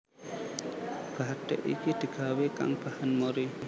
Bathik iki digawé kang bahan mori